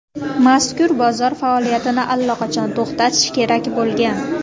Mazkur bozor faoliyatini allaqachon to‘xtatish kerak bo‘lgan.